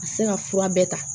A tɛ se ka fura bɛɛ ta